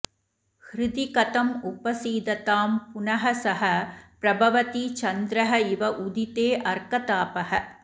हृदि कथम् उपसीदतां पुनः सः प्रभवति चन्द्रः इव उदिते अर्कतापः